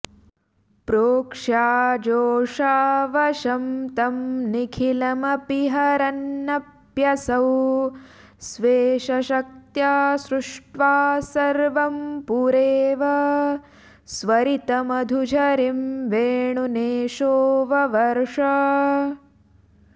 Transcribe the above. प्रेक्ष्याजोऽजावशं तं निखिलमपि हरन्नप्यसौ स्वेशशक्त्या सृष्ट्वा सर्वं पुरेव स्वरितमधुझरीं वेणुनेशो ववर्ष